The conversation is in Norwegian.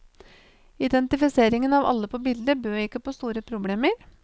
Identifiseringen av alle på bildet bød ikke på store problemer.